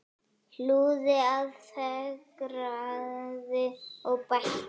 Hlúði að, fegraði og bætti.